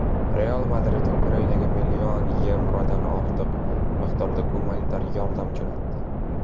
"Real Madrid" Ukrainaga million yevrodan ortiq miqdorda gumanitar yordam jo‘natdi;.